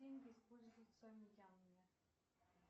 деньги используются в мьянме